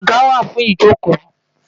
Àga wà fún ìjókòó